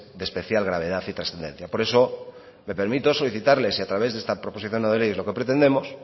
de especial gravedad y trascendencia por eso me permito solicitarles y a través de esta proposición no de ley es lo que pretendemos